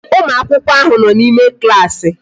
Ụmụakwụkwọ ahụ nọ n'ime klaasị